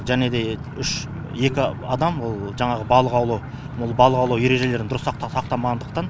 және де үш екі адам ол жаңағы балық аулау ережелерін дұрыс сақтамағандықтан